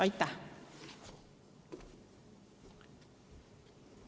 Aitäh!